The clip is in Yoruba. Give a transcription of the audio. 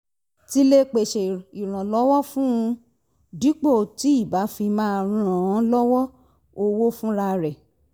ti lè pèsè ìrànlọ́wọ́ fún un dípò tí ì bá fi máa ràn án lọ́wọ́ owó fúnra rẹ̀